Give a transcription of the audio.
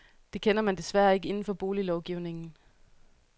Det kender man desværre ikke inden for boliglovgivningen.